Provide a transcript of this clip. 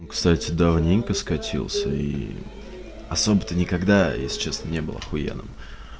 кстати давненько скатился и особо-то некогда я сейчас не был охуенным